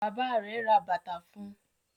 bàbá rẹ rè bàtá fún.